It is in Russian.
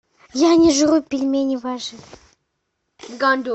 я не жру пельмени ваши